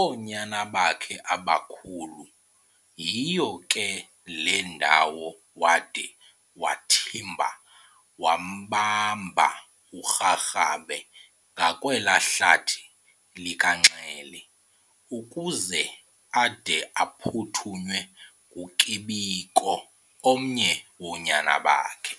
oonyana bakhe abakhulu. Yiyo ke le ndawo wade wamthimba wambamba uRharhabe ngakwelaa hlathi likaNxele, ukuze ade aphuthunywe nguKibiko omnye woonyana bakhe.